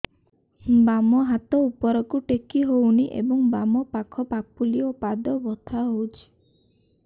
ବାମ ହାତ ଉପରକୁ ଟେକି ହଉନି ଏବଂ ବାମ ପାଖ ପାପୁଲି ଓ ପାଦ ବଥା ହଉଚି